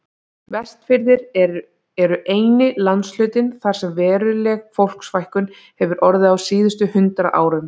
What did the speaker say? Vestfirðir eru eini landshlutinn þar sem veruleg fólksfækkun hefur orðið á síðustu hundrað árum.